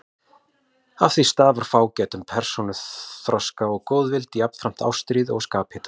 Af því stafar fágætum persónuþroska og góðvild, jafnframt ástríðu og skaphita.